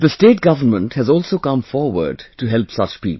The state government has also come forward to help such people